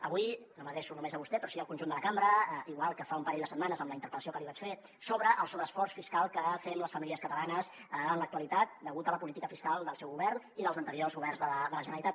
avui no m’adreço només a vostè però sí al conjunt de la cambra igual que fa un parell de setmanes amb la interpel·lació que li vaig fer sobre el sobreesforç fiscal que fem les famílies catalanes en l’actualitat degut a la política fiscal del seu govern i dels anteriors governs de la generalitat